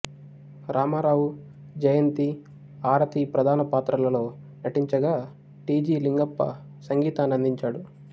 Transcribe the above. రామారావు జయంతి ఆరతి ప్రధాన పాత్రలలో నటించగా టి జి లింగప్ప సంగీతాన్నందించాడు